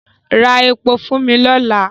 Ra epo fún mi lọ́la!